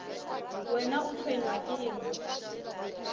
wena o tshwenywa ke eng